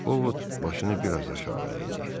Ovod başını biraz aşağı əydi.